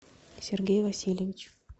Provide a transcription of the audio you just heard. сергей васильевич